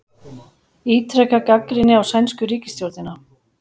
Ítreka gagnrýni á sænsku ríkisstjórnina